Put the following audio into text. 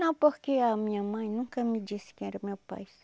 Não, porque a minha mãe nunca me disse quem era meu pai.